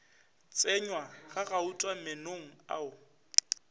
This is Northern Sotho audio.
tsenywa ga gauta meenong ao